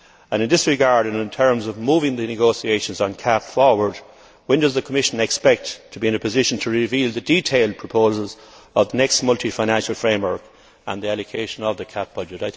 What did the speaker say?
In this regard, and in terms of moving the negotiations on the CAP forward, when does the Commission expect to be in a position to reveal the detailed proposals of the next multi financial framework and the allocation of the CAP budget?